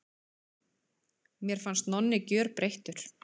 Mér fannst Nonni gjörbreyttur.